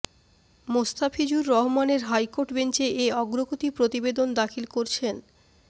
মোস্তাফিজুর রহমানের হাইকোর্ট বেঞ্চে এ অগ্রগতি প্রতিবেদন দাখিল করছেন